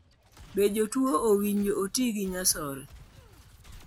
Be jotuo owinjo oti gi nyasore?